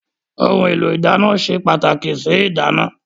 Ohun èlò ìdáná se pàtàkì sí ìdáná.